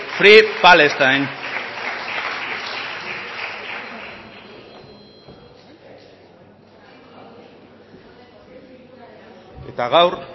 free palestine eta gaur